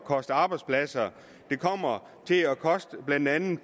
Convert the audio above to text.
koste arbejdspladser det kommer til at koste blandt andet